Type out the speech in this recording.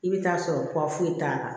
I bɛ taa sɔrɔ foyi t'a la